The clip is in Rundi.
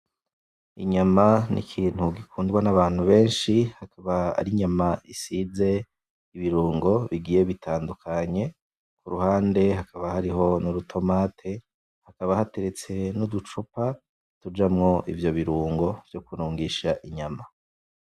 Inyama ni ikintu gikundwa nabantu benshi ikaba ari inyama isize ibirungo bigiye butandukanye, kuruhande hakaba hari nurutomate hakaba hateretse nuducupa tujamwo ivyo birungo vyo kurungisha inyama.